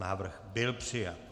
Návrh byl přijat.